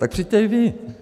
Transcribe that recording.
Tak přijďte i vy.